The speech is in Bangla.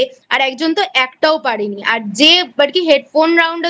আর একজন তো একটাও পারেনি আর যে আর কী Headphone Round এ